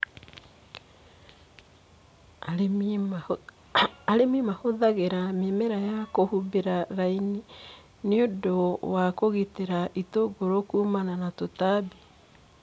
Arĩmi mahũthagĩra mĩmera ya kũhumbĩra laini nĩundũwa kũgitĩra itũngũrũ kumana na tũtambi.